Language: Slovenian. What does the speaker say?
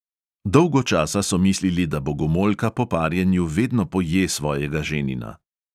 Dolgo časa so mislili, da bogomolka po parjenju vedno poje svojega ženina.